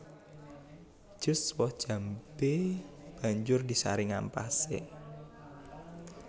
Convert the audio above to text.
Jus woh jambé banjur disaring ampasé